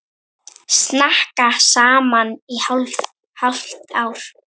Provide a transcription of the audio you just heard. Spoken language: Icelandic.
Snakka saman í hálft ár.